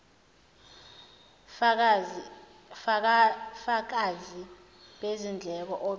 fakazi bezindleko obe